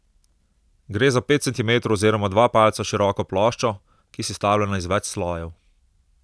Gre za pet centimetrov oziroma dva palca široko ploščo, ki je sestavljena iz več slojev.